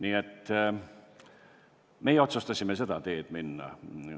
Igal juhul, meie otsustasime seda teed minna.